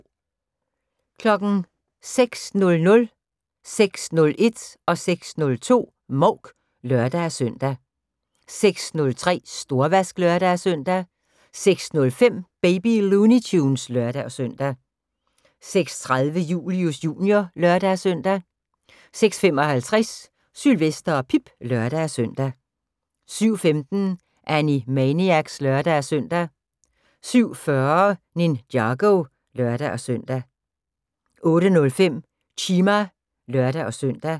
06:00: Mouk (lør-søn) 06:01: Mouk (lør-søn) 06:02: Mouk (lør-søn) 06:03: Storvask (lør-søn) 06:05: Baby Looney Tunes (lør-søn) 06:30: Julius Jr. (lør-søn) 06:55: Sylvester og Pip (lør-søn) 07:15: Animaniacs (lør-søn) 07:40: Ninjago (lør-søn) 08:05: Chima (lør-søn)